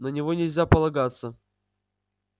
на него нельзя полагаться